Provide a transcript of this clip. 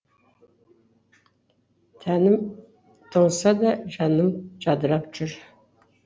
тәнім тоңса да жаным жадырап жүр